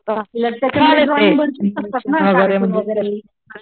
तर तिला त्याच्यामध्ये ड्रॉईंग बनवू शकतात ना कार्टून वैगेरे